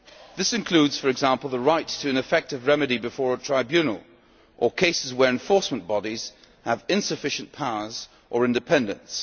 law. This includes, for example, the right to an effective remedy before a tribunal, or cases where enforcement bodies have insufficient powers or independence.